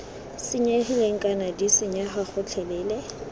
senyegileng kana d senyega gotlhelele